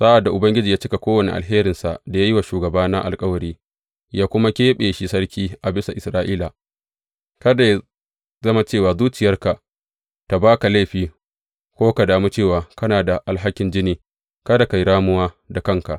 Sa’ad da Ubangiji ya cika kowane alherinsa da ya yi wa shugabana alkawari, ya kuma keɓe shi sarki a bisa Isra’ila, kada yă zama cewa zuciyarka ta ba ka laifi ko ka damu cewa kana da alhakin jini, kada ka yi ramuwa da kanka.